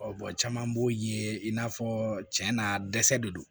caman b'o ye i n'a fɔ cɛn na dɛsɛ de don